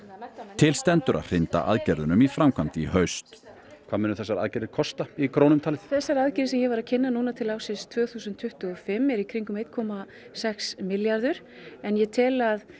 til stendur að hrinda aðgerðunum í framkvæmd í haust hvað munu þessar aðgerðir kosta í krónum talið þessar aðgerðir sem ég var að kynna núna til ársins tvö þúsund tuttugu og fimm eru í kringum einn komma sex milljarður en ég tel að